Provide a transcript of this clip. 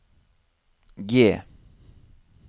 G